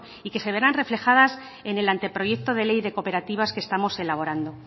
y que se verán reflejadas en el anteproyecto de ley de cooperativas que estamos elaborando